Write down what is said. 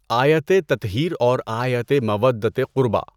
آیتِ تطہیر اور آیتِ مَوَدَّۃِ قُرْبیٰ۔